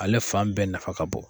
Ale fan bɛɛ nafa ka bon